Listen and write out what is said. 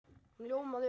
Hún ljómaði upp!